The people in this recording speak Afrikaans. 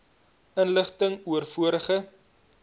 inligting oor vorige